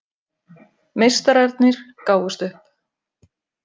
Meistararnir gáfust upp